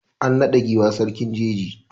An naɗa giwa sarkin jeji.